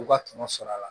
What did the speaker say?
U ka tɔnɔ sɔrɔ a la